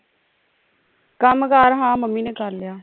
ਕੰਮ ਕਾਰ ਹਾਂ ਮੰਮੀ ਨੇ ਕਰ ਲਿਆ